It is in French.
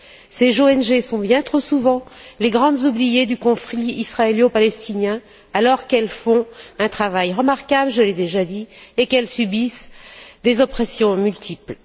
Ces ONG sont bien trop souvent les grandes oubliées du conflit israélo palestinien alors qu'elles font un travail remarquable, je l'ai déjà dit, et qu'elles subissent des oppressions multiples.